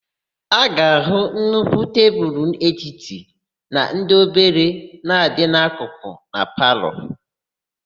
A ga-áhụ̀ nnukwu tebulu etiti na ndị obere na-adị n'akụkụ na palọ.